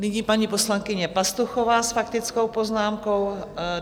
Nyní paní poslankyně Pastuchová s faktickou poznámkou.